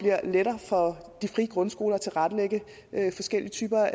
lettere for de frie grundskoler at tilrettelægge forskellige typer